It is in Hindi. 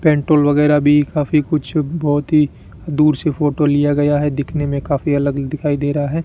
पेंटोल वगैरह भी काफी कुछ बहोत ही दूर से फोटो लिया गया है दिखने मे काफी अलग दिखाई दे रहा है।